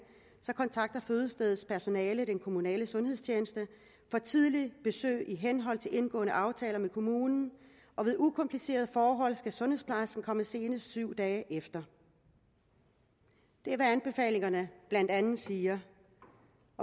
kontakter fødestedets personale den kommunale sundhedstjeneste for et tidligt besøg i henhold til indgåede aftaler med kommunen og ved ukomplicerede forhold skal sundhedsplejersken komme senest syv dage efter det er hvad anbefalingerne blandt andet siger